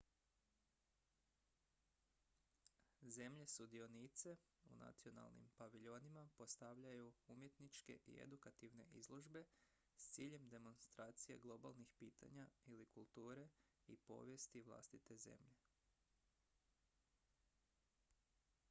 zemlje sudionice u nacionalnim paviljonima postavljaju umjetničke i edukativne izložbe s ciljem demonstracije globalnih pitanja ili kulture i povijesti vlastite zemlje